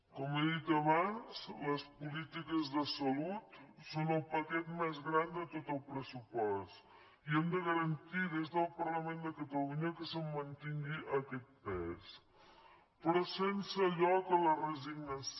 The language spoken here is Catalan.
com he dit abans les polítiques de salut són el paquet més gran de tot el pressupost i hem de garantir des del parlament de catalunya que se’n mantingui aquest pes però sense lloc a la resignació